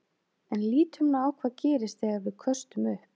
En lítum nú á hvað gerist þegar við köstum upp.